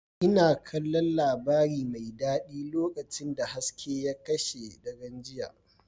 Ina kallon labari mai daɗi lokacin da hasken ya kashe daren jiya.